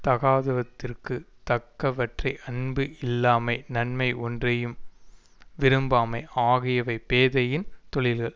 தகாதவற்றிற்கு தக்கவற்றை அன்பு இல்லாமை நன்மை ஒன்றையும் விரும்பாமை ஆகியவை பேதையின் தொழில்கள்